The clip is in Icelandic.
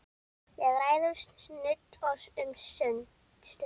Við ræðum nudd um stund.